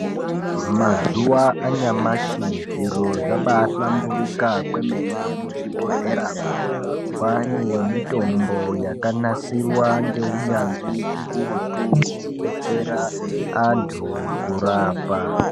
Mazuwa anyamashi zviro zvabahlamburika kwemene muzvibhodhleramwo. Kwane mitombo yakanasirwa ngeunyanzi hukurutu kubetsera antu kurapa.